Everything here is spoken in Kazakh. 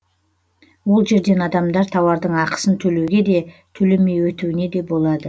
ол жерден адамдар тауардың ақысын төлеуге де төлемей өтуіне де болады